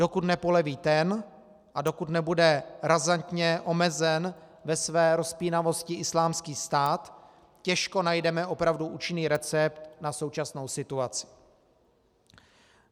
Dokud nepoleví ten a dokud nebude razantně omezen ve své rozpínavosti Islámský stát, těžko najdeme opravdu účinný recept na současnou situaci.